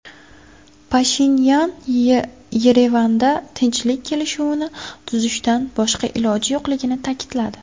Pashinyan Yerevanda tinchlik kelishuvini tuzishdan boshqa iloji yo‘qligini ta’kidladi .